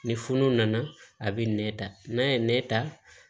Ni fununu nana a bɛ nɛn ta n'a ye ne ta